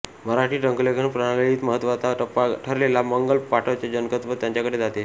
मराठी टंकलेखन प्रणालीत महत्त्वाचा टप्पा ठरलेल्या मंगल फॉंटाचे जनकत्व त्यांच्याकडे जाते